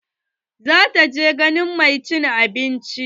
Za ta je ganin mai cin abinci.